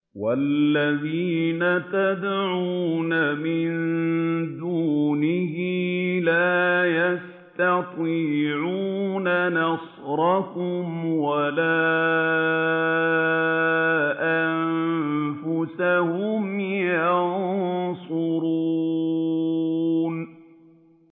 وَالَّذِينَ تَدْعُونَ مِن دُونِهِ لَا يَسْتَطِيعُونَ نَصْرَكُمْ وَلَا أَنفُسَهُمْ يَنصُرُونَ